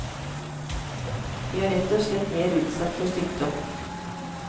De er rett og slett mer utsatt for sykdom.